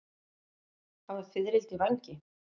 Hafa fiðrildi vængi?